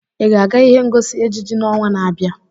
Ị ga-aga ihe ngosi ejiji n'ọnwa na-abịa?